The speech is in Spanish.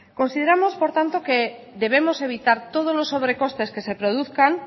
consideramos por tanto que debemos evitar todos los sobre costes que se produzcan